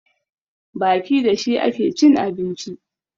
Baki da shi ake cin abinci